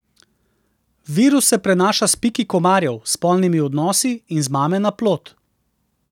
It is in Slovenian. Virus se prenaša s piki komarjev, spolnimi odnosi in z mame na plod.